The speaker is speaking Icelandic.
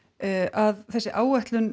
að þessi áætlun